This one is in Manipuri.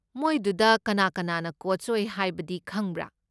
ꯃꯣꯏꯗꯨꯗ ꯀꯅꯥ ꯀꯅꯥꯅ ꯀꯣꯆ ꯑꯣꯏ ꯍꯥꯏꯕꯗꯤ ꯈꯪꯕ꯭ꯔꯥ?